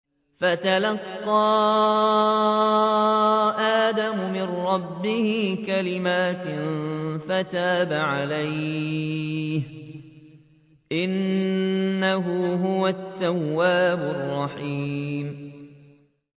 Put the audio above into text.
فَتَلَقَّىٰ آدَمُ مِن رَّبِّهِ كَلِمَاتٍ فَتَابَ عَلَيْهِ ۚ إِنَّهُ هُوَ التَّوَّابُ الرَّحِيمُ